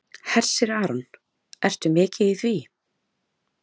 Hersir Aron: Ertu mikið í því?